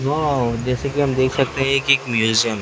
wow जैसे कि हम देख सकते हैं कि एक म्यूजियम --